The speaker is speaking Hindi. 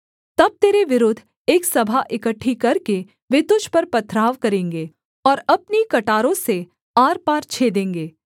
तब तेरे विरुद्ध एक सभा इकट्ठी करके वे तुझ पर पत्थराव करेंगे और अपनी कटारों से आरपार छेदेंगे